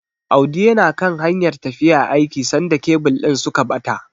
Audi yana kan hanyar tafiya aiki sanda kebil din suka bata.